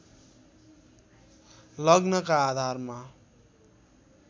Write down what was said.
लग्नका आधारमा